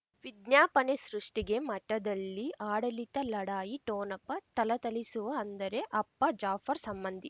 ವಿಜ್ಞಾಪನೆ ಸೃಷ್ಟಿಗೆ ಮಠದಲ್ಲಿ ಆಡಳಿತ ಲಢಾಯಿ ಠೋಣಪ ಥಳಥಳಿಸುವ ಅಂದರೆ ಅಪ್ಪ ಜಾಫರ್ ಸಂಬಂಧಿ